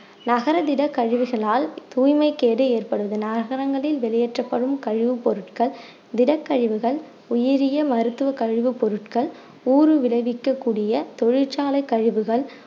நகரதிட கழிவுகளால் தூய்மை கேடு ஏற்படுவது நகரங்களில் வெளியேற்றப்படும் கழிவு பொருட்கள் திடக்கழிவுகள் உயிரிய மருத்துவ கழிவு பொருட்கள் ஊறுவிளைவிக்க கூடிய தொழிற்சாலைக் கழிவுகள்